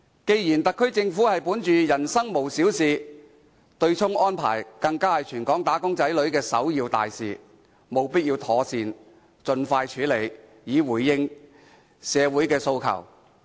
既然特區政府本着"民生無小事"的原則，而對沖安排又是全港"打工仔女"的首要大事，所以政府務必盡快妥善處理，以回應社會的訴求。